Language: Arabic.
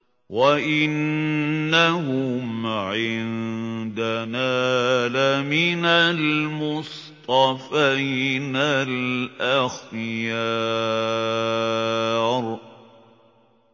وَإِنَّهُمْ عِندَنَا لَمِنَ الْمُصْطَفَيْنَ الْأَخْيَارِ